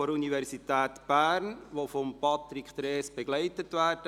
der Universität Bern, die von Patrick Trees begleitet werden.